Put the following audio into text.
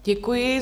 Děkuji.